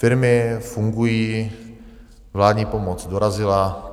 Firmy fungují, vládní pomoc dorazila.